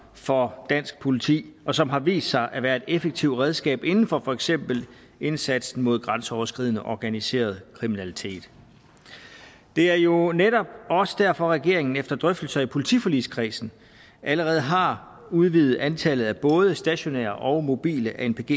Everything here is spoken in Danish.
for dansk politi og som har vist sig at være et effektivt redskab inden for for eksempel indsatsen mod grænseoverskridende organiseret kriminalitet det er jo netop også derfor at regeringen efter drøftelser i politiforligskredsen allerede har udvidet antallet både af stationære og mobile anpg